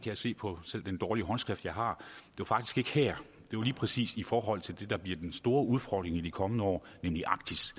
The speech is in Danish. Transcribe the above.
jeg se på selv den dårlige håndskrift jeg har var faktisk ikke her det var lige præcis i forhold til det der bliver den store udfordring i de kommende år nemlig arktis